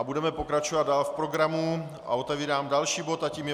A budeme pokračovat dál v programu a otevírám další bod a tím je